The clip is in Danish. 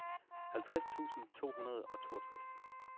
halvtreds tusind to hundrede og toogtres